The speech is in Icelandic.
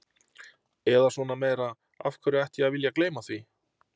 Eða svona meira, af hverju ætti ég að vilja gleyma því?